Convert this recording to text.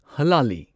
ꯍꯂꯥꯂꯤ